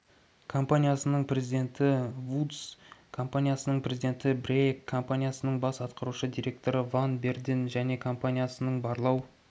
компаниясының президенті вудс іі компаниясының президенті брейяк компаниясының бас атқарушы директоры ван берден және компаниясының барлау